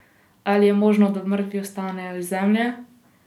Ali je možno, da mrtvi vstanejo iz zemlje?